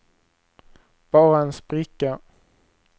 bara en spricka